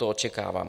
To očekávám.